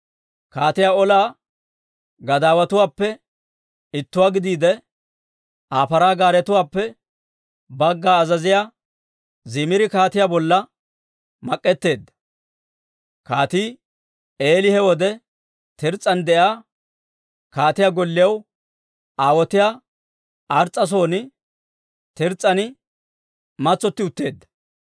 Kaatiyaa ola gadaawatuwaappe ittuwaa gidiide, Aa paraa gaaretuwaappe bagga azaziyaa Zimiri kaatiyaa bolla mak'etteedda. Kaatii Eeli he wode Tirs's'an de'iyaa kaatiyaa gollew aawotiyaa Ars's'a son Tirs's'an matsotti utteedda.